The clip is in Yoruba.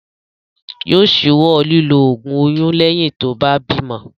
Yóò ṣíwọ́ lílo ògùn oyún lẹ́yìn tí ó bá bímo.